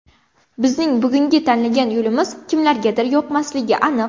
Bizning bugungi tanlagan yo‘limiz kimlargadir yoqmasligi aniq.